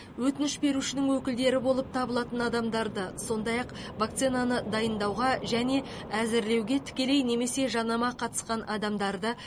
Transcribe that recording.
өтініш берушінің өкілдері болып табылатын адамдарды сондай ақ вакцинаны дайындауға және әзірлеуге тікелей немесе жанама қатысқан адамдарды